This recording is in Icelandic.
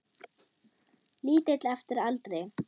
Lítill eftir aldri.